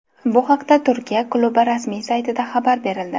Bu haqda Turkiya klubi rasmiy saytida xabar berildi .